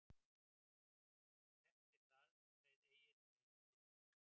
Eftir það reið Egill heim til